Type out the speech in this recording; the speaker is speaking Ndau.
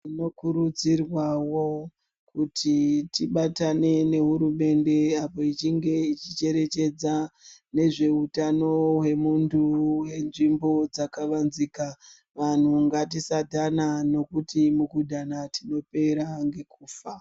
Zvinokurudzirwawo kuti tibatane nehurumende apo ichinge ichicherechedza nezveutano hwemuntu hwenzvimbo dzakavanzika. Vanhu ngatisadhana nokuti mukudhana tinopera ngekufa.